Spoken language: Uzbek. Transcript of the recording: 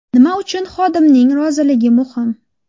Nima uchun xodimning roziligi muhim?